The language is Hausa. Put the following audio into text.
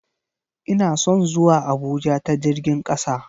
Ina son zuwa Abuja ta jirgin kasa.